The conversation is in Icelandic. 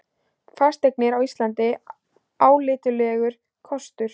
Fasteignir á Íslandi álitlegur kostur